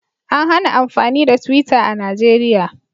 An hana amfani da twitter a Najeriya